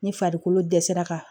Ni farikolo dɛsɛra ka